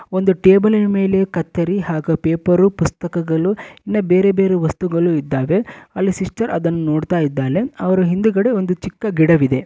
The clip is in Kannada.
ಒಂದು ಟೇಬಲ್ ಇನ ಮೇಲೆ ಕತ್ತರಿ ಹಾಗು ಪೇಪರ್ ಪುಸ್ತಕಗಳು ಇನ್ನ ಬೇರೆ ಬೇರೆ ವಸ್ತುಗಳು ಇದ್ದಾವೆ. ಅಲ್ಲಿ ಸಿಸ್ಟರ್ ಅದನ್ನು ನೋಡ್ತಾ ಇದ್ದಾಳೆ ಅವ್ರು ಹಿಂದಗಡೆ ಒಂದು ಚಿಕ್ಕ ಗಿಡವಿದೆ.